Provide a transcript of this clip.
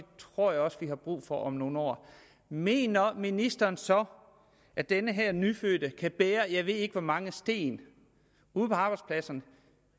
tror jeg også at vi har brug for om nogle år mener ministeren så at den her nyfødte kan bære jeg ved ikke hvor mange sten ude på arbejdspladserne